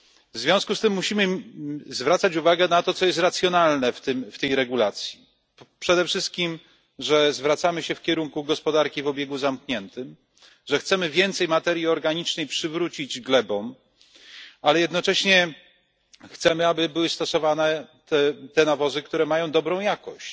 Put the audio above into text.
W związku z tym musimy zwracać uwagę na to, co jest racjonalne w tej regulacji, przede wszystkim że zwracamy się w kierunku gospodarki o obiegu zamkniętym, że chcemy więcej materii organicznej przywrócić glebom, ale jednocześnie chcemy, aby były stosowane te nawozy, które mają dobrą jakość.